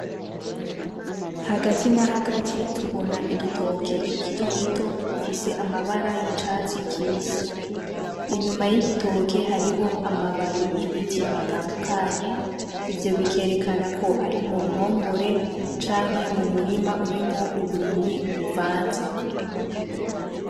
Hagati na hagati tubona igitoke gifise amabara y'icatsi kibisi. Inyuma y'igitoke hariho amababi y'ibiti bitandukanye. Ivyo bikerekana ko ari mu ruhongore canke mu murima urimwo uburimyi buvanze.